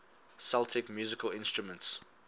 celtic musical instruments